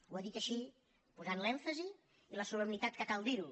ho ha dit així posant l’èmfasi i la solemnitat amb què cal dir ho